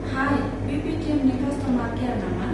High, बे पेटिएमनि customer care नामा?